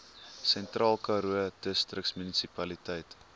sentraalkaroo distriksmunisipaliteit